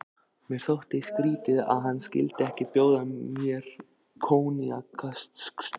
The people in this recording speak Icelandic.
Mér þótti skrýtið, að hann skyldi ekki bjóða mér koníaksstaup.